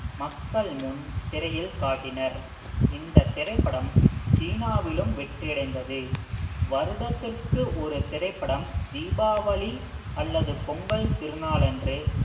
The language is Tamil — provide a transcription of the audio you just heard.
மக்கள் முன் திரையில் காட்டினர் இந்தத் திரைப்படம் சீனாவிலும் வெற்றி அடைந்தது வருடத்திற்கு ஒரு திரைப்படம் தீபாவளி அல்லது பொங்கல் திருநாளன்று